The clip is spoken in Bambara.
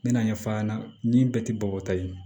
N mɛna ɲɛfɔ a ɲɛna ni bɛɛ tɛ bɔ ta ye